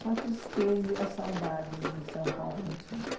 Só a tristeza e a saudades do São Paulo Antigo.